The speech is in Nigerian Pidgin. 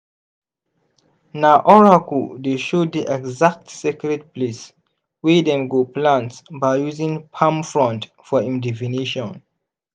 na oracle dey show di exact sacred place wey dem go plant by using palm frond for im divination.